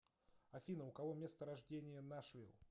афина у кого место рождения нашвилл